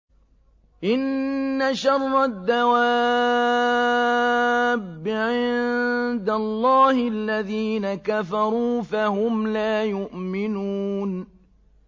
إِنَّ شَرَّ الدَّوَابِّ عِندَ اللَّهِ الَّذِينَ كَفَرُوا فَهُمْ لَا يُؤْمِنُونَ